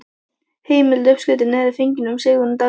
Heimild: Uppskriftin er fengin frá Sigrúnu Davíðsdóttur.